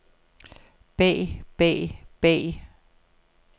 bag bag bag